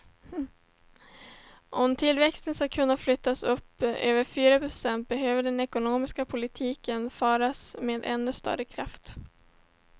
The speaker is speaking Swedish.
Om tillväxten ska kunna lyftas upp över fyra procent behöver den ekonomiska politiken föras med ännu större kraft.